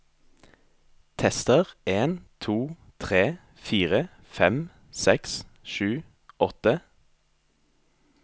Tester en to tre fire fem seks sju åtte